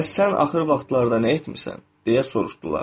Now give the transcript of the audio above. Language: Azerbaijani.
Bəs sən axır vaxtlarda nə etmisən, deyə soruşdular.